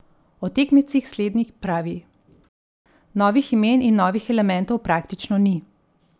O tekmecih slednji pravi: "Novih imen in novih elementov praktično ni.